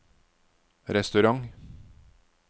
restaurant